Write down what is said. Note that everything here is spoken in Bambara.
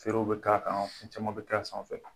Feerew bɛ ka kan, fɛn caman bɛ k'a sanfɛ.